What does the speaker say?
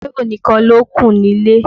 Táíwò nìkan lókù nílé.